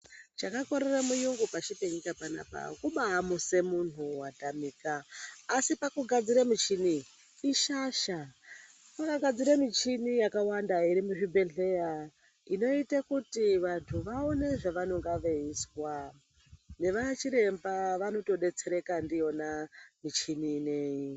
Chakakorera muyungu pashi penyika panapa kubaa muse muntu watamika asi pakugadzira muchini ere ishasha. Vakagadzira michini yakawanda iri muzvibhedhleya inoita kuti vanhu vaone zvavanonga veizwa nevachiremba anotodetsereka ndiyona muchini ineyi.